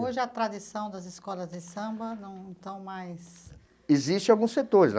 Hoje, a tradição das escolas de samba não estão mais... Existem alguns setores.